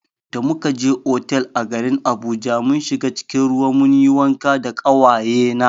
Da muka je otal a garin Abuja mun shiga cikin ruwa mun yi wanka da ƙawaye na.